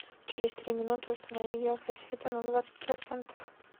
через три минуты установи яркость света на двадцать процентов